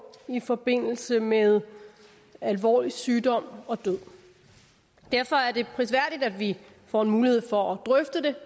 i forbindelse med alvorlig sygdom og død derfor er det prisværdigt at vi får en mulighed for at drøfte det